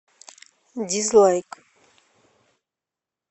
дизлайк